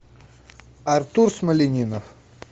артур смолянинов